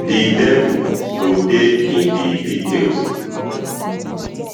di devil go dey in di details